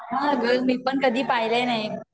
हा ग मी पण कधी पाहिले नाहीये